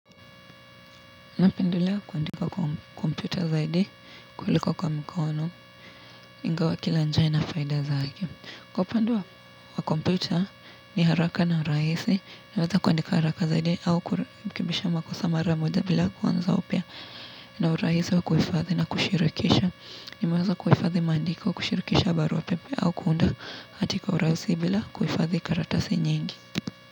Napendelea kuandika kwa kompyuta zaidi, kuliko kwa mkono, ingawa kila njia ina faida zake. Kwa upande, wa kompyuta ni haraka na rahisi, naweza kuandika haraka zaidi au kurekebisha makosa mara moja bila kuanza upya na urahisi wa kuhifadhi na kushirikisha. Naweza kuhifadhi maandiko kushirikisha barua pepe au kuunda hati kwa urahisi bila kuhifadhi karatasi nyingi.